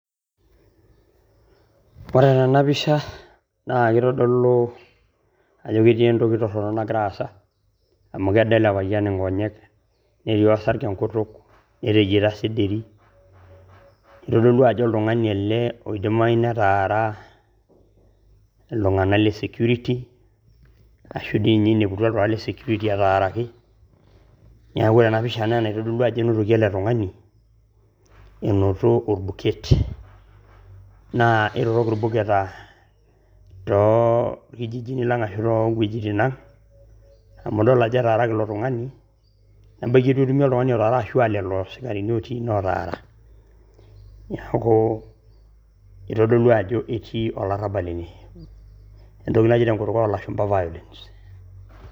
Ore tena pisha naa kitodolu ajo ketii entoki torrono nagira aasa amu kedo ele payian nkonyek, nedo enkutuk, netejiaita sederi. Kitodolu ajo olyung`ani ele oidimayu netaara iltung`anak le security ashu dii ninye eineputua iltung`anak le security etaaraki. Niaku ore ena pisha naa enaitodolu ajo enotoki ele tung`ani enoto olbuket. Naa kitorrok ilbuketa too ilkijijini lang ashu too wuejitin ang amu idol ajo etaaraki ilo tung`ani, ebaiki nitu etumi oltung`ani otara ashu lelo sikarini otii ine lotaara. Niaku itodolu ajo etii olarrabal ene entoki naji tenkutuk oo lashumpa violence.